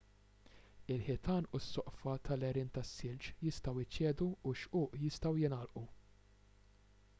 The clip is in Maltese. il-ħitan u s-soqfa tal-għerien tas-silġ jistgħu jċedu u x-xquq jistgħu jingħalqu